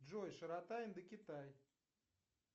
джой широта индокитай